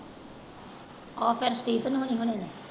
ਉਹ ਫੇਰ